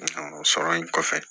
o sɔrɔ in kɔfɛ